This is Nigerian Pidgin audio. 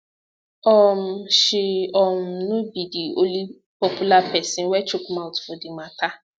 um she um no be di only popular pesin wey chook mouth for di mata